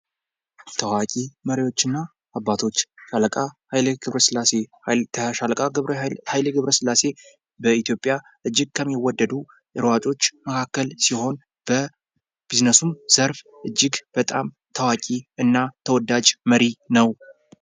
ታዋቂ መሪዎች እና አባቶች ሻለቃ ኃይሌ ገብረሥላሴ:- ሻለቃ ኃይሌ ገብረሥላሴ በኢትዮጵያ እጅግ ከሚወደዱ ሯጮች መካከል ሲሆን በቢዝነሱም ዘርፍ እጅግ በጣም ተወዳጅ እና ታዋቂ መሪ ነዉ።